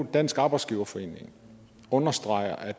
dansk arbejdsgiverforening understreger